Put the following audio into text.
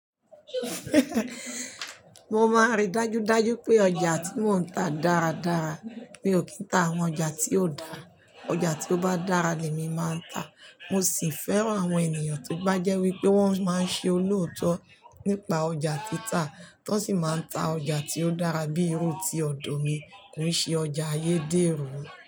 Mo máa ń rí dájú dájú pé ọjà tí mò ń ta dára dára. Mi ò kí ń ta àwọn ọjà tí ò dáa. Ọjà tí ó bá dára ni èmi máa ń ta. Mo sì fẹ́ràn àwọn ènìyàn tí bá jẹ́ wípé wọ́n máa ń ṣe olóòótọ́ nípa ọjà tí ta. Wọn sì máa ń ta ọjà tí ó dára bí i irú tí ọ̀dọ̀ mi. Kò ṣe ọjà ayédèrú.